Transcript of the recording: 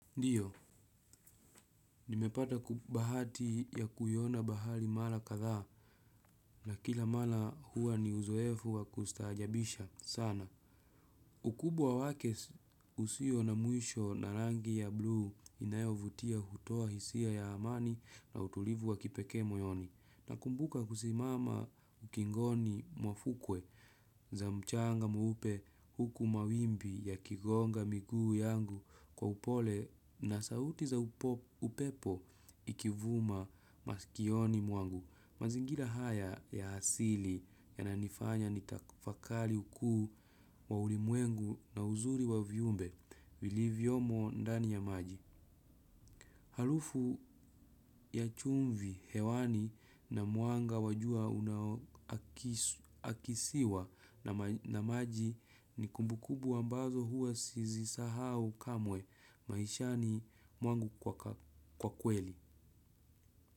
Ndio, nimepata bahati ya kuiona bahari mara kadhaa na kila mara huwa ni uzoefu wa kustaajabisha sana. Ukubwa wake usio na mwisho na rangi ya blue inayovutia hutoa hisia ya amani na utulivu wa kipekee moyoni. Nakumbuka kusimama ukingoni mwa fukwe za mchanga mweupe huku mawimbi ya kigonga miguu yangu kwa upole na sauti za upepo ikivuma masikioni mwangu. Mazingira haya ya asili yananifanya nitafakari ukuu wa ulimwengu na uzuri wa viumbe vilivyomo ndani ya maji. Harufu ya chumvi, hewani na mwanga wa jua unaoakisiwa na maji ni kumbukumbu ambazo huwa sizisahau kamwe maishani mwangu kwa kweli.